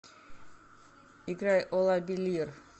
играй олабилир